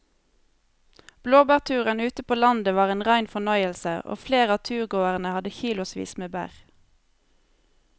Blåbærturen ute på landet var en rein fornøyelse og flere av turgåerene hadde kilosvis med bær.